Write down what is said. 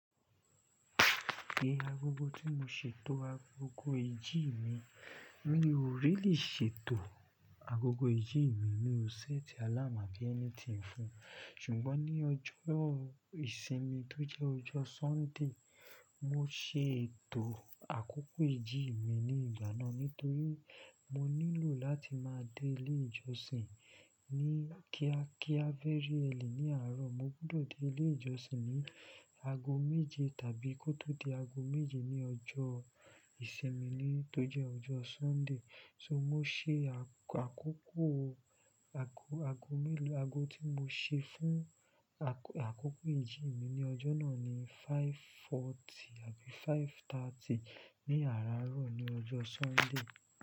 Gbe agogo tí mo ṣètò agogo ìjì mi. Mi ò ríli ṣètò agogo ìjì mi, mi ò ṣẹ́ẹ̀tì àláamu abí ẹnitíń fún. Ṣùgbọ́n ní ọjọ́ ìsinmi tó jẹ́ ọjọ́ Sunday, mo ṣe ètò àkókò ìjì mi ní ìgbà náà nítorí mo nílò láti máa dé ilé ìjọsìn ní kíákíá véry early ní àárọ̀. Mo gbọdọ̀ dé ilé ìjọsìn ní ago méje tàbí kó tó di ago méje ní ọjọ́ ìsinmi mi tó jẹ́ ọjọ́ Sunday. So mo ṣe àkókò ago mélòó ago tí mo ṣe fún àkókò ìjì mi ní ọjọ́ náà ni five forty àbí five thirty ní àárọ̀ ní ọjọ́ Sunday.